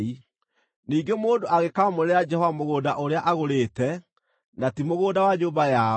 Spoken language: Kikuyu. “ ‘Ningĩ mũndũ angĩkaamũrĩra Jehova mũgũnda ũrĩa agũrĩte, na ti mũgũnda wa nyũmba yao,